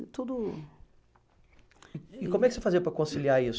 E tudo. E como é que você fazia para conciliar isso?